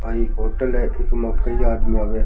यहाँ एक होटल है जेमे कई आदमी आवे।